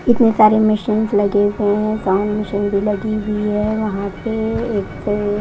इतने सारे मशीन लगी हुए हैं मशीन लगी हुई है वहां पर एक--